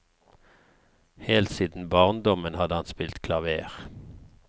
Helt siden barndommen hadde han spilt klaver.